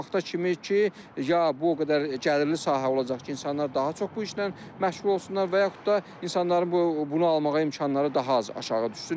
O vaxta kimi ki, ya bu o qədər gəlirli sahə olacaq ki, insanlar daha çox bu işlə məşğul olsunlar və yaxud da insanların bunu almağa imkanları daha az aşağı düşsün.